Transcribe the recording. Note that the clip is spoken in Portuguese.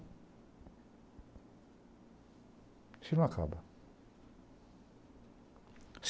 Isso aí não acaba.